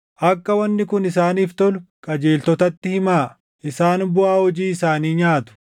Akka wanni kun isaaniif tolu qajeeltotatti himaa; isaan buʼaa hojii isaanii nyaatu.